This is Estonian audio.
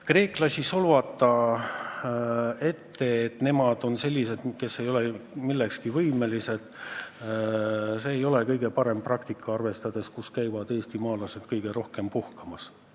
Kreeklasi ette solvata, et nemad on sellised, kes ei ole millekski võimelised – see ei ole kõige parem praktika, arvestades ka seda, kus käivad eestimaalased kõige rohkem puhkamas.